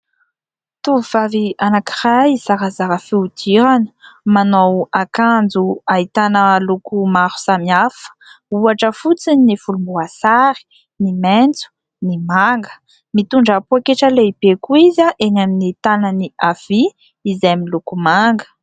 Tovovavy anankiray zarazara fihodirana, manao akanjo ahitana loko maro samy hafa, ohatra fotsiny ny volomboasary, ny maitso, ny manga ; mitondra poketra lehibe koa izy eny amin'ny tanany havia izay miloko manga.